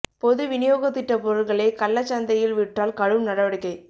பொது விநியோகத் திட்டப் பொருள்களை கள்ளச் சந்தையில் விற்றால் கடும் நடவடிக்கை